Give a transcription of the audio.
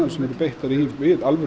sem er beitt við alvöru